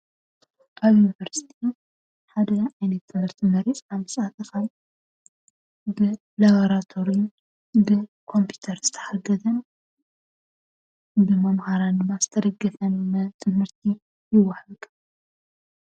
ኣብ ዩኒቨርስቲ ሓደ ዓይነት ትምህርቲ መሪፅና ምስኣተካ ብላብራቶሪን ብኮምፑዩተር ዝተሓገዘን ብመምሃራን ድማ ዝተደገፈን ትምህርቲ ይወሃብ።